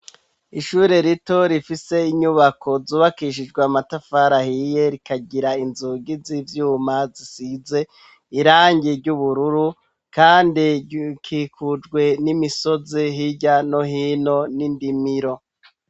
ishure rito rifise inyubako zubakishijwe matafar hiye rikagira inzugi z'ibyuma zisize irangi ry'ubururu kandi kikurwe n'imisozi hijya no hino n'indimiro